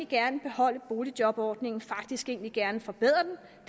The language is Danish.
gerne beholde boligjobordningen faktisk egentlig gerne forbedre den